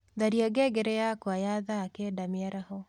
tharĩa ngengere yakwa ya thaa kenda mĩaraho